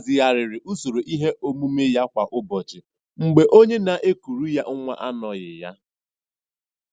Ọ hazigharịrị usoro ihe omume ya kwa ụbọchị mgbe onye na-ekuru ya nwa anoghị ya.